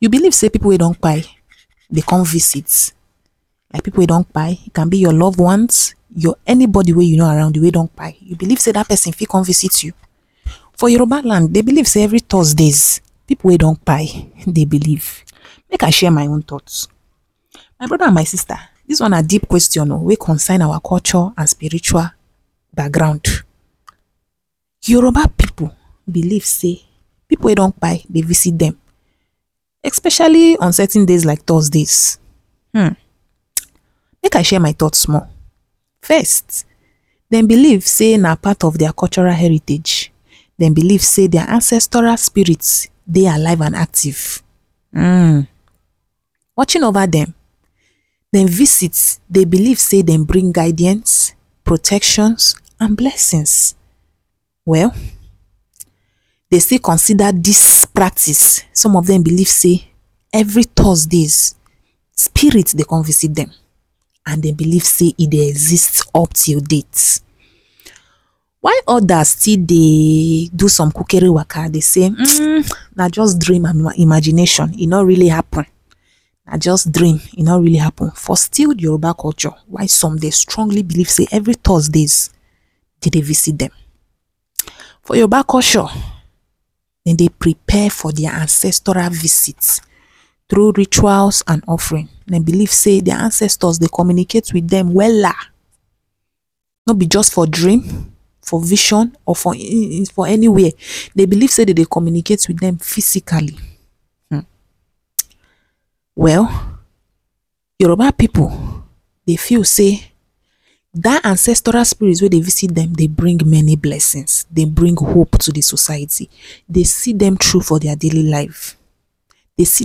You believe sey pipu wey don dey come visit. Like pipu wey don can be your love ones, your any body wey you know around you wey don you believe sey dat person fit come visit you? for Yoruba land dey believe sey every Thursdays pipu wey don dey belief make I share my own thoughts my broda and sista dis one na deep question o wey concern our culture and spiritual background. Yoruba people believe sey pipu wey don dey visit dem especially on certain days like Thursdays hmmmm make I share my thought small. First, dem believe sey na part of their cultural heritage dem believe sey their ancestral spirit dey alive and active hmmm watching over, dem visit dem believe sey dem bring guidance, protections and blessings well dem still consider dis practice some of dem believe sey every Thursdays spirit dey come visit dem and dem believe sey e dey exist up till date. While others still dey do some kukere waka dey sey hmmmm na just dream and imagination e no really happen na just dream e no really happen for still dey Yoruba culture why some dey strongly believe sey every Thursdays dem dey visit dem. for Yoruba culture dem dey prepare for de ancestral visit through rituals and offerings dem believe sey their ancestors dey communicate with dem wella no be just for dream for vision or any where dem believe sey dem dey communicate with them physically hmmm well, Yoruba pipu dey feel seydat ancestral spirit wey dey visit dem dey bring many blessings dey bring hope to de society dey see dem through for their daily llife dey see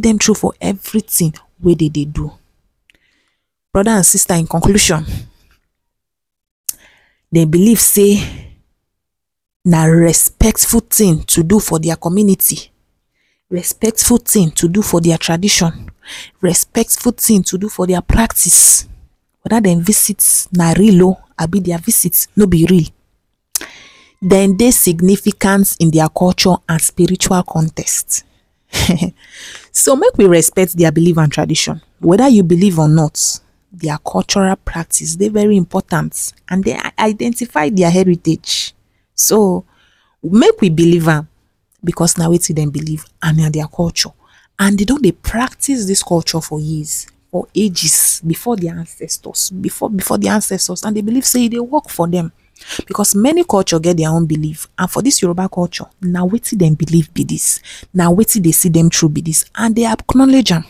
dem through for every thing wey dem dey do broad and sista in conclusion dem believe sey na respectful thing to do for their community, respectful thing to do for their tradition, respectful thing to do for their practice. Whether dem visit na real o abi dem visit no be real, dem dey significant in their culture and their spiritual context so make we respect their belief and tradition whether you believe or not their cultural practice dey very important and dem identified their heritage so make we believe am because na wetin dem believe and na their culture and de don dey practice dis culture for years or ages before their ancestors before before their ancestors and dem believe sey e dey work for dem because many culture get their own believe and for dis Yoruba culture na wetin dem believe and na wetin dey see dem through be dis and dem acknowledge am